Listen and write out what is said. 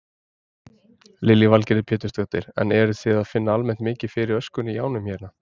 Lillý Valgerður Pétursdóttir: En eruð þið að finna almennt mikið fyrir öskunni í ánum hérna?